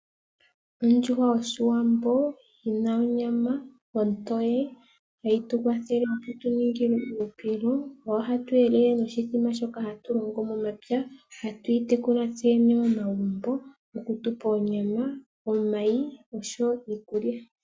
Ondjuhwa yOshiwambo oyi na onyama ontoye. Ohayi tu kwathele yi tu ningile uuhupilo, oyo hatu elele noshithima shoka hatu longo momapya. Ohatu yi tekula tseyene momagumbo oku tu pa onyama, omayi noshowo iiulya.